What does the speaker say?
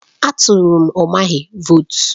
A tụrụ m Umahi vootu.